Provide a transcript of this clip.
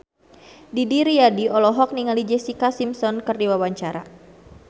Didi Riyadi olohok ningali Jessica Simpson keur diwawancara